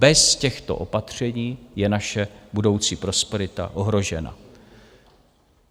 Bez těchto opatření je naše budoucí prosperita ohrožena.